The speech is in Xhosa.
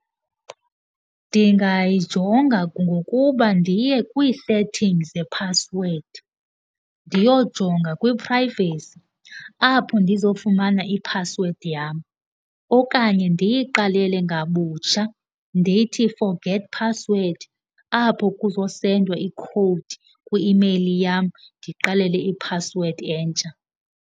Ndingayijonga ngokuba ndiye kwii-settings zephasiwedi, ndiyojonga kwiphrayivesi apho ndizofumana iphasiwedi yam. Okanye ndiyiqalele ngabutsha ndithi forget password, apho kuzosendwa ikhowudi kwi-imeyili yam ndiqalelele iphasiwedi entsha.